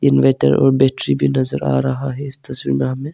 Inverter और battery भी नजर आ रहा है इस तस्वीर में हमें।